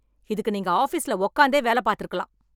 இதுக்கு நீங்க ஆஃபீஸ்ல உக்காந்தே வேல பாத்து இருக்கலாம்